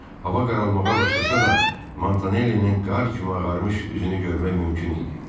Hava qaralmağa başlasa da, Mantonellinin qar kimi ağarmış üzünü görmək mümkün idi.